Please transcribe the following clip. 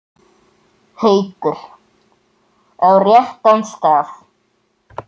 Haukur: Á réttan stað?